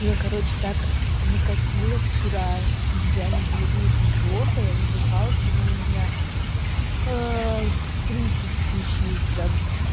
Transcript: меня короче так накатило вчера блин реально было очень плохо я задыхалась я думала у меня приступ случился